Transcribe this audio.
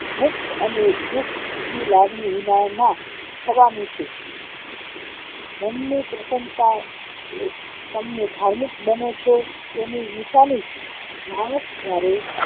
સુખ અને દુઃખની લાગણી વિનાના થવાનું છે મનની પ્રસન્નતા એ તમને ધાર્મિક બનો છો તેની નિશાની છે માણસ જયારે